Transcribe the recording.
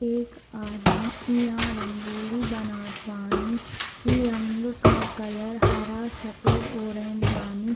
एक आदमी इहाँ रंगोली बनात बानी इ रंग का कलर हरा सफ़ेद ऑरेंज बानी।